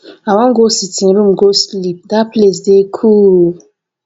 i wan go sitting room go sleep dat place dey cool